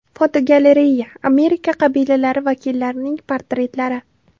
Fotogalereya: Amerika qabilalari vakillarining portretlari.